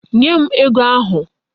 Nye m ego ahụ.